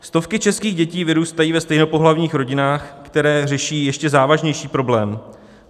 Stovky českých dětí vyrůstají ve stejnopohlavních rodinách, které řeší ještě závažnější problém.